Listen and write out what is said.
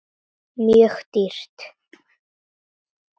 Mjög dýrt.